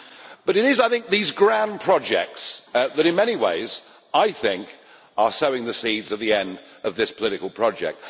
But it is I think these grand projects that in many ways, I think, are sowing the seeds of the end of this political project.